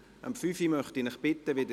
Murielle Buchs (d)